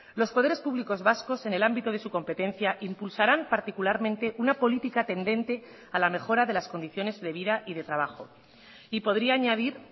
los poderes públicos vascos en el ámbito de su competencia impulsarán particularmente una política tendente a la mejora de las condiciones de vida y de trabajo y podría añadir